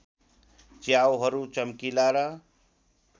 च्याउहरू चम्किला र